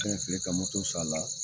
Fɛn filɛ i ka moto san a la